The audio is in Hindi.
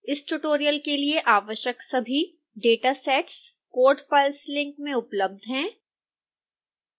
इस ट्यूटोरियल के लिए आवश्यक सभी datasets code files लिंक में उपलब्ध हैं